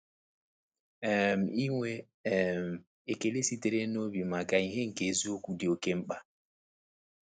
um Inwe um ekele sitere n’obi maka ìhè nke eziokwu dị oké mkpa.